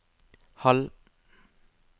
halv